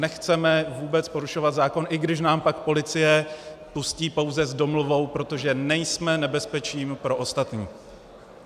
Nechceme vůbec porušovat zákon, i když nás pak policie pustí pouze s domluvou, protože nejsme nebezpeční pro ostatní.